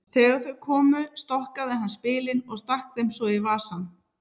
Þegar þau komu stokkaði hann spilin og stakk þeim svo í vasann.